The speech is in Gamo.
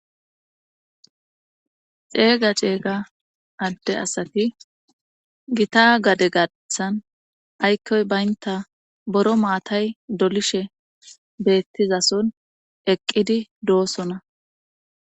Ceega ceega adde asati gita gade gaththan aykkoy baynta boro maatay dolishe beettizason eqqidi doosona.